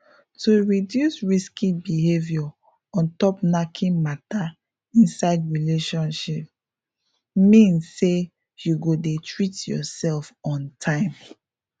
to reduce risky behavior ontop knacking matter inside relationship mean say you go dey treat yourself on time